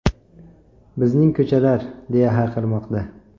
Bizning ko‘chalar!”, deya hayqirmoqda.